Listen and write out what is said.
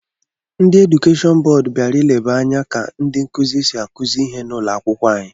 Ndị edukeshọn bọọdụ bịara ileba anya ka ndị nkụzi si akụzi ihe n'ụlọ akwụkwọ anyị.